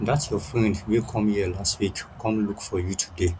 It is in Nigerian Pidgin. dat your friend wey come here last week come look for you today